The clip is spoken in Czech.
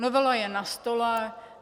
Novela je na stole.